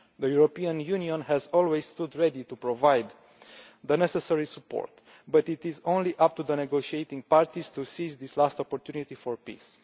The European Union has always stood ready to provide the necessary support but it is up to the negotiating parties alone to seize this last opportunity for peace.